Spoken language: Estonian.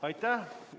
Aitäh!